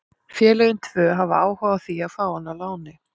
Félögin tvö hafa áhuga á því að fá hann á láni.